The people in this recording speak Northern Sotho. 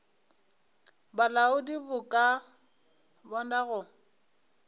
bolaodi bo ka bona go